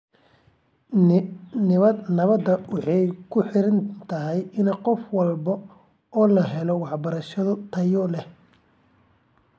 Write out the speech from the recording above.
Nabadda waxay ku xiran tahay in qof walba loo helo waxbarasho tayo leh.